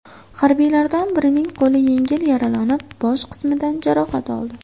Harbiylardan birining qo‘li yengil yaralanib, bosh qismidan jarohat oldi.